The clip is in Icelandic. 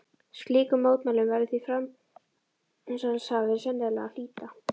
Slíkum mótmælum verður því framsalshafi sennilega að hlíta.